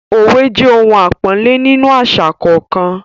òwe jẹ ohun àpọ́nlé nínú àṣà kọ̀ọ̀kan.